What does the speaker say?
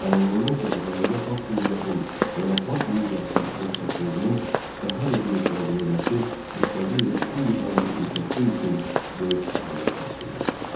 Tanınandan sonra Azərbaycan Xalq Cümhuriyyətinin beynəlxalq miqyasda əməkdaşlığının daha da genişləndirilməsi müstəqil Respublikanın inkişafı üçün böyük əhəmiyyət kəsb edirdi.